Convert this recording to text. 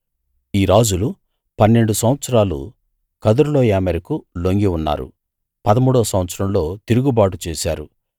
ఈ రాజులు పన్నెండు సంవత్సరాలు కదొర్లాయోమెరుకు లొంగి ఉన్నారు పదమూడో సంవత్సరంలో తిరుగుబాటు చేశారు